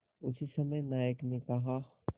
उसी समय नायक ने कहा